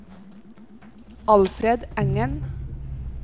Alfred Engen